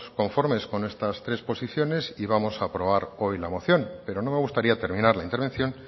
conformes con estas tres posiciones y vamos a aprobar hoy la moción pero no me gustaría terminar la intervención